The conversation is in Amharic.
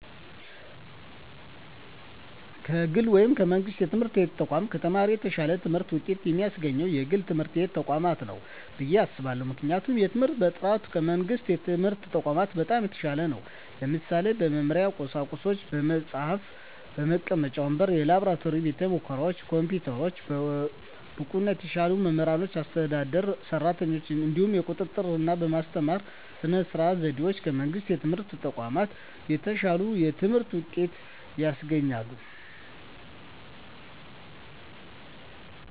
ከግል ወይም ከመንግሥት የትምህርት ተቋማት ለተማሪ የተሻለ ትምህርት ውጤት የሚያስገኘው የግል ትምህርት ተቋማት ነው ብየ አስባለሁ ምክንያቱም የትምህርት በጥራቱ ከመንግስት የትምህርት ተቋማት በጣም የተሻለ ነው ለምሳሌ - በመማሪያ ቁሳቁሶች በመፅሀፍ፣ መቀመጫ ወንበሮች፣ የላብራቶሪ ቤተሙከራዎች፣ ኮምፒውተሮች፣ ብቁና የተሻሉ መምህራኖችና አስተዳደር ሰራተኞች፣ እንዲሁም የቁጥጥ ርና በማስተማር ስነ ዘዴዎች ከመንግስት የትምህርት ተቋማት የተሻለ የትምህርት ውጤት ያስገኛል።